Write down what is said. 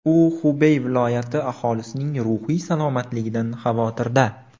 U Xubey viloyati aholisining ruhiy salomatligidan xavotirda.